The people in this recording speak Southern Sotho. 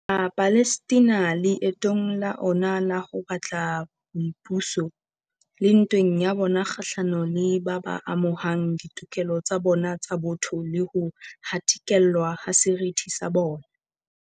Ma palestina leetong la ona la ho batla boipuso, le ntweng ya bona kgahlano le ba ba amohang ditokelo tsa bona tsa botho le ho hatikellwa ha seriti sa bona.